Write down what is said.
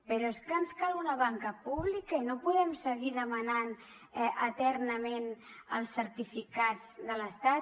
però és que ens cal una banca pública i no podem seguir demanant eternament els certificats de l’estat